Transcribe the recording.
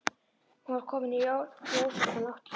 Hún var komin í rósóttan náttkjól.